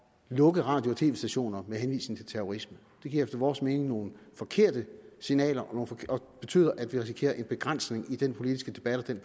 lukke radio og tv stationer med henvisning til terrorisme det giver efter vores mening nogle forkerte signaler og betyder at vi risikerer en begrænsning i den politiske debat og den